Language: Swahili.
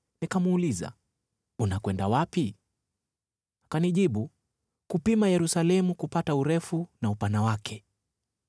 Nikamuuliza, “Unakwenda wapi?” Akanijibu, “Kupima Yerusalemu, kupata urefu na upana wake.”